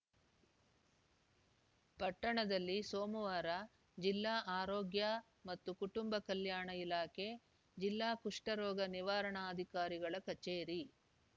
ಪಟ್ಟಣದಲ್ಲಿ ಸೋಮವಾರ ಜಿಲ್ಲಾ ಆರೋಗ್ಯ ಮತ್ತು ಕುಟುಂಬ ಕಲ್ಯಾಣ ಇಲಾಖೆ ಜಿಲ್ಲಾ ಕುಷ್ಠರೋಗ ನಿವಾರಾಣಾಧಿಕಾರಿಗಳ ಕಚೇರಿ